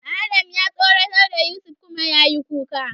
Adam ya tsoratar da Yusuf kuma yayi kuka.